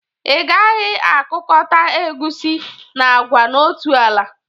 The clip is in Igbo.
Ị gaghi akụkọta egusi na agwa n'otu ala!